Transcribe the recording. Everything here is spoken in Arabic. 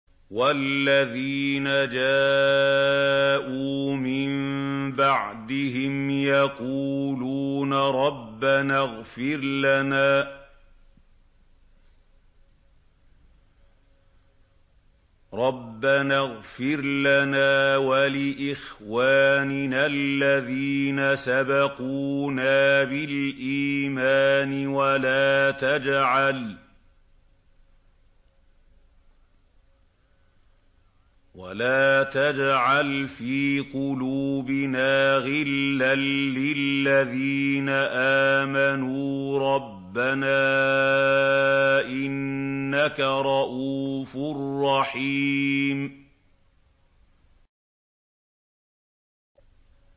وَالَّذِينَ جَاءُوا مِن بَعْدِهِمْ يَقُولُونَ رَبَّنَا اغْفِرْ لَنَا وَلِإِخْوَانِنَا الَّذِينَ سَبَقُونَا بِالْإِيمَانِ وَلَا تَجْعَلْ فِي قُلُوبِنَا غِلًّا لِّلَّذِينَ آمَنُوا رَبَّنَا إِنَّكَ رَءُوفٌ رَّحِيمٌ